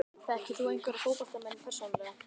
Þekkir þú einhverja fótboltamenn persónulega?